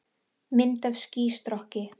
Mynd af skýstrokki.